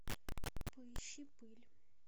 поищи пыль